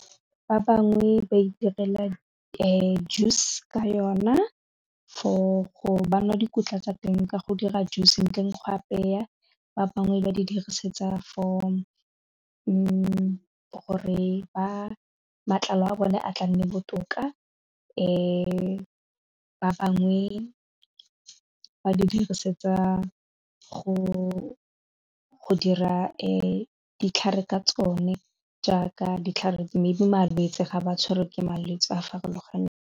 Ba bangwe ba itirela juice ka yona for go ba nwa dikotla tsa teng ka go dira juice ntle go apeya, ba bangwe ba di dirisetsa for gore ba matlalo a bone a tla nne botoka ba bangwe ba di dirisetsa go dira ditlhare ka tsone jaaka ditlhare mme di malwetse ga ba tshwere ke malwetse a a farologaneng.